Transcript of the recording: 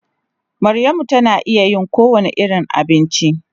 Maryamu tana iya yin kowane irin abinci.